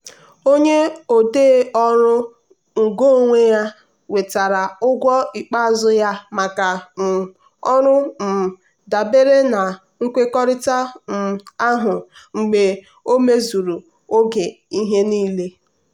onye odee ọrụ ngo onwe ya nwetara ụgwọ ikpeazụ ya maka um ọrụ um dabere na nkwekọrịta um ahụ mgbe o mezuru oge ihe niile.